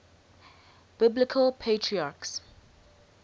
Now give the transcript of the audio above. biblical patriarchs